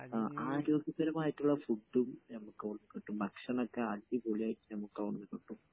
പിന്നെ ആരോഗ്യപരമായിട്ടുള്ള ഫുഡ് ഉം നമുക്ക് അവിടന്ന് കിട്ടും. ഭക്ഷണമൊക്കെ അടിപൊളിയായിട്ട് ഞമക്ക് അവിടുന്ന് കിട്ടും.